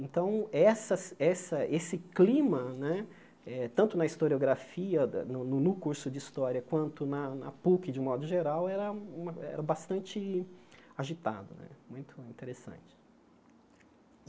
Então, essa essa esse clima né, eh tanto na historiografia, no curso de História, quanto na na Puc, de modo geral, era uma era bastante agitado né, muito interessante.